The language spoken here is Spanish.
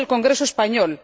1 del Congreso español